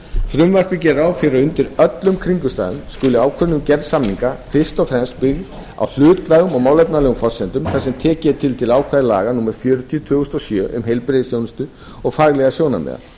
frumvarpið gerir ráð fyrir að undir öllum kringumstæðum skuli ákvörðun um gerð samninga fyrst og fremst byggð á hlutlægum og málefnalegum forsendum þar sem tekið er tillit til ákvæða laga númer fjörutíu tvö þúsund og sjö um heilbrigðisþjónustu og faglegra sjónarmiða